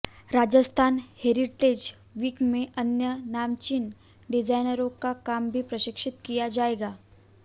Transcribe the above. Rajasthan heritage week में अन्य नामचीन डिजाइनरों का काम भी प्रदर्शित किया जाएगा